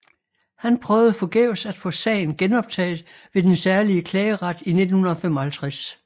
Han prøvede forgæves at få sagen genoptaget ved den særlige klageret i 1955